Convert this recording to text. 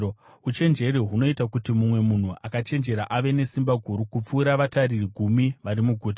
Uchenjeri hunoita kuti mumwe munhu akachenjera ave nesimba guru kupfuura vatariri gumi vari muguta.